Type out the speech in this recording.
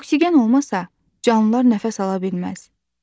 Oksigen olmasa canlılar nəfəs ala bilməz.